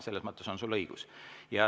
Selles mõttes on sul õigus.